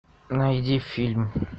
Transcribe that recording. найди фильм